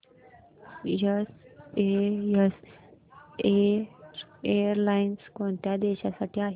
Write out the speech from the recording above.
SAS airlines कोणत्या देशांसाठी आहे